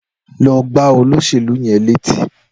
Lọ gbá olóṣèlú yẹn létí.